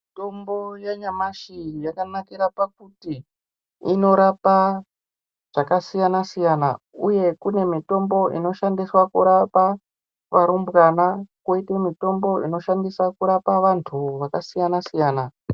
Mitombo ya nyamashi yakanakira pakuti ino rapa zvaka siyana siyana uye kune mitombo ino shandiswe kurapa varumbwana koite mitombo ino shandiswe kurapa vantu aka siyana siyana.